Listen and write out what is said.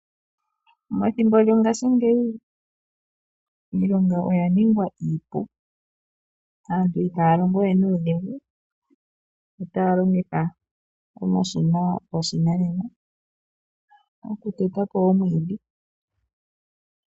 Methimbo lyongaashingeyi iilonga oya ningwa iipu, aantu ihaya longo we nuudhigu. Otaya longitha omashina goshinanena okuteta po omwiidhi.